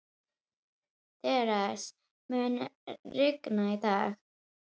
Theresa, mun rigna í dag?